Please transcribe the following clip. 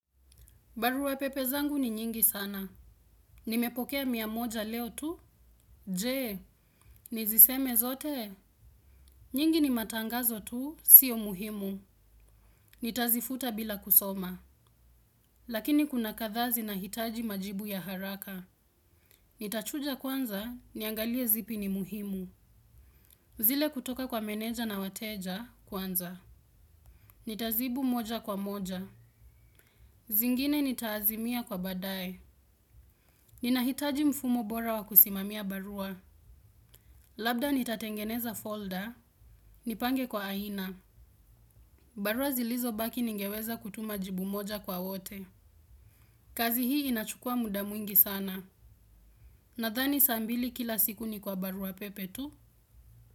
Barua pepe zangu ni nyingi sana. Nimepokea mia moja leo tu. Je, niziseme zote? Nyingi ni matangazo tu, sio muhimu. Nitazifuta bila kusoma. Lakini kuna kadhaa zinahitaji majibu ya haraka. Nitachuja kwanza, niangalie zipi ni muhimu. Zile kutoka kwa meneja na wateja, kwanza. Nitazibu moja kwa moja. Zingine nitaazimia kwa baadae. Ninahitaji mfumo bora wa kusimamia barua. Labda nitatengeneza folder, nipange kwa aina. Barua zilizobaki ningeweza kutuma jibu moja kwa wote. Kazi hii inachukua muda mwingi sana. Nadhani saa mbili kila siku ni kwa barua pepe tu.